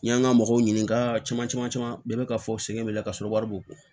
N y'an ka mɔgɔw ɲininka caman caman caman bɛɛ be ka fɔ sɛgɛn bɛ ka sɔrɔ wari b'u kun